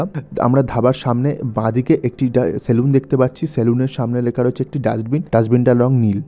আব আমরা ধাবার সামনে বা দিকে একটি ডা সেলুন দেখতে পাচ্ছি সেলুন -এর সামনে লেখা রয়েছে একটি ডাস্টবিন । ডাস্টবিন টার রঙ নীল।